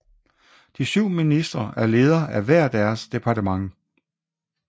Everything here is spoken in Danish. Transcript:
De syv ministre er leder af hver deres departement